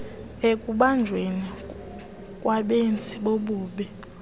ekubanjweni kwabenzi bobubi